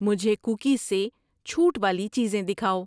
مجھے کوکیز سے چھوٹ والی چیزیں دکھاؤ